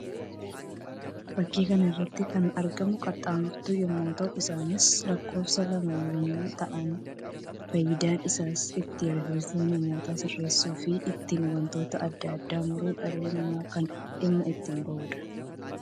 Fakkii kana irratti kan argamu qaxxaamurtuu yammuu ta'u; isaannis lakkoofsaan lama yammuy ta'an; faayyidaan isaas ittiin rifeensa namootaa sirreessuu fi ittiin wantoota addaa addaa muruuf dhalli namaa kan dhimma itti bahuudha.